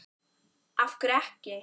af hverju ekki?